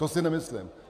To si nemyslím.